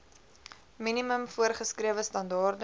minimum voorgeskrewe standaarde